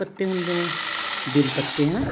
ਪੱਤੇ ਹੁੰਦੇ ਨੇ ਬੇਲ ਪੱਤੇ ਹਨਾ